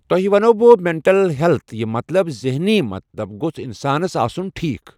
توہہِ وَنہو بہٕ مٮ۪نٹَل ہیلٕتھ یہِ مطلَب ذٮ۪ہنی مطلَب گوژھ اِنسان آسُن ٹھیٖک.